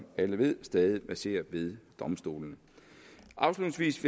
alle ved stadig verserer ved domstolene afslutningsvis